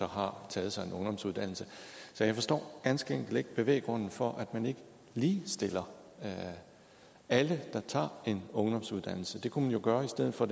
har taget sig en ungdomsuddannelse så jeg forstår ganske enkelt ikke bevæggrunden for at man ikke ligestiller alle der tager en ungdomsuddannelse det kunne man jo gøre i stedet for